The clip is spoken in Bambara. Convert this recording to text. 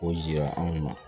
K'o jira anw na